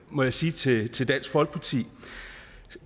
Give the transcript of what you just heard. må jeg sige til til dansk folkeparti